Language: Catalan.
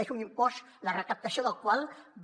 és un impost la recaptació del qual va